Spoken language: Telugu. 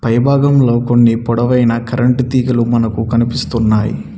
పై భాగంలో కొన్ని పొడవైన కరెంటు తీగలు మనకి కనిపిస్తున్నాయి.